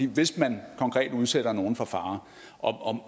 hvis man konkret udsætter nogle for fare og